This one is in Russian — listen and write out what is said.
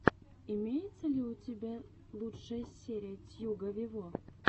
имеется ли у тебя лучшая серия тьюга вево